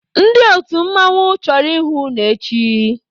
Ndị otu mmanwụ chọrọ ịhụ unu echi!